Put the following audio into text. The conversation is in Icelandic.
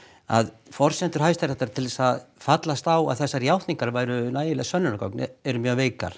að forsendur Hæstaréttar til þess að fallast á að þessar játningar væru nægileg sönnunargögn eru mjög veikar